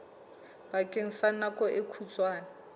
bakeng sa nako e kgutshwane